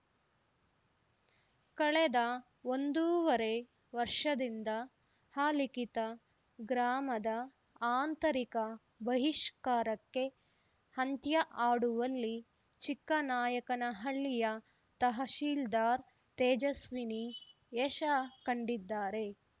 ಕಳೆದ ಒಂದೂವರೆ ವರ್ಷದಿಂದ ಅಲಿಖಿತ ಗ್ರಾಮದ ಆಂತರಿಕ ಬಹಿಷ್ಕಾರಕ್ಕೆ ಅಂತ್ಯ ಹಾಡುವಲ್ಲಿ ಚಿಕ್ಕನಾಯಕನಹಳ್ಳಿಯ ತಹಶೀಲ್ದಾರ್ ತೇಜಸ್ವಿನಿ ಯಶ ಕಂಡಿದ್ದಾರೆ